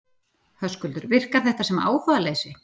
Höskuldur: Virkar þetta sem áhugaleysi?